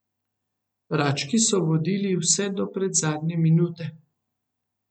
Rački so vodili vse do predzadnje minute.